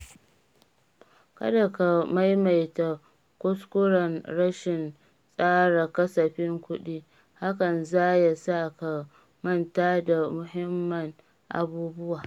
Kada ka maimaita kuskuren rashin tsara kasafin kuɗi, hakan za ya sa ka manta da muhimman abubuwa.